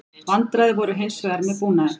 Vandræði voru hins vegar með búnaðinn